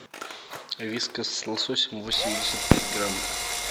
вискас с лососем восемьдесят пять грамм